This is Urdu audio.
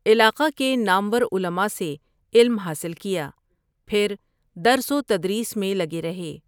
علاقہ کےنامورعلماءسےعلم حاصل کیا، پھردرس وتدریس میں لگےرہے۔